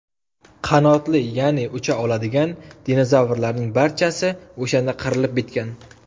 Qanotli, ya’ni ucha oladigan dinozavrlarning barchasi o‘shanda qirilib bitgan.